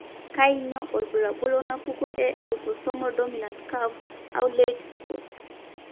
kainyio irbulabul onaapuku eautosomal dominant caf au lait spots?